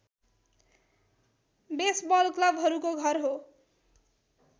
baseball क्लबहरूको घर हो